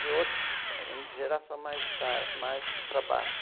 De out, hum, geração mais tar, mais para baixo.